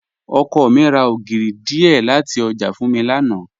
Ọkọ mi ra ogírì díẹ́ lati ọjà fún mi lánà.